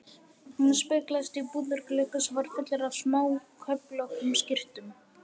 Hún speglaðist í búðarglugga sem var fullur af smáköflóttum skyrtum.